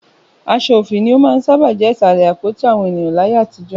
Aṣọ òfì ni ó máa ń sábà jẹ́ Ìsàlẹ̀ àpótí àwọn ènìyàn láyé àtijọ́